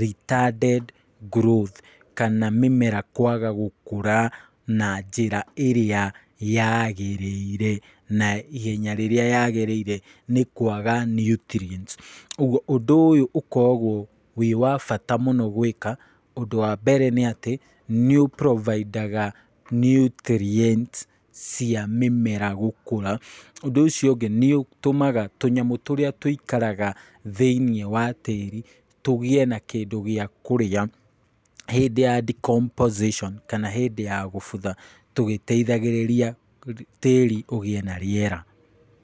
retarded growth, kana mĩmera kwaga gũkũra na njĩra ĩrĩa yagĩrĩire, na ihenya rĩrĩa yagĩrĩire nĩ kwaga nutrients, ũguo ũndũ ũyũ ũkoragwo wĩ wa bata mũno gwĩka, ũndũ wa mbere nĩ atĩ , nĩ ũ provide aga nutrients cia mĩmera gũkũra, ũndũ ũcio ũngĩ nĩ ũtũmaga tũnyamũ tũrĩa tũikaraga thĩiniĩ wa tĩri tũgĩe na kĩndũ gĩa kũrĩa , hĩndĩ ya decomposition, kana hĩndĩ ya gũbutha tũgĩteithagĩrĩria tĩri ũgĩe na rĩera.